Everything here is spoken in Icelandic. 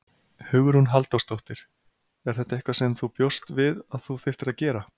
Hugrún Halldórsdóttir: Er þetta eitthvað sem þú bjóst við að þú þyrftir að gera?